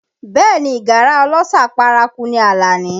Bẹẹ ni, ìgárá ọlọ́ṣà paraku ni Alani